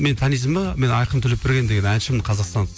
мені танисың ба мен айқын төлепберген деген әншімін қазақстан